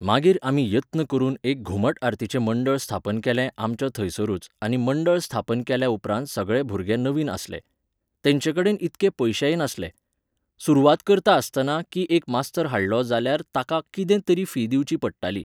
मागीर आमी यत्न करून एक घुमट आरतीचें मंडळ स्थापन केलें आमच्या थंयसरूच आनी मंडळ स्थापन केल्या उपरांत सगळे भुरगे नवीन आसले. तेंचेकडेन इतके पयशेय नासले. सुरवात करता आसतना की एक मास्तर हाडलो जाल्यार ताका कितें तरी फी दिवची पडटाली.